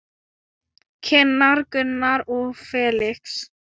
Kynnar Gunnar og Felix.